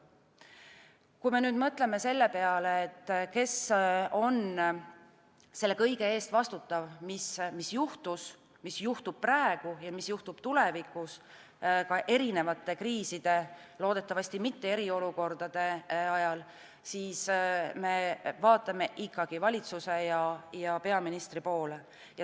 Kui me mõtleme selle peale, kes on selle kõige eest vastutav, mis juhtus, mis juhtub praegu ja mis juhtub tulevikus ka erinevate kriiside – loodetavasti mitte eriolukordade – ajal, siis me vaatame ikkagi valitsuse ja peaministri poole.